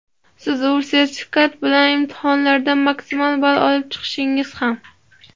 Siz u sertifikat bilan imtihonlardan maksimal ball olib chiqdingiz ham.